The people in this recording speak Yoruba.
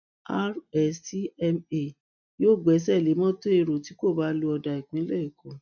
rstma yóò gbẹsẹ lé mọtò èrò tí kò bá lo ọdà ìpínlẹ èkó